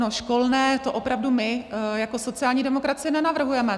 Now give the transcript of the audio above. No, školné, to opravdu my jako sociální demokracie nenavrhujeme.